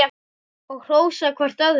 Og hrósa hvert öðru.